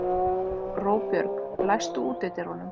Róbjörg, læstu útidyrunum.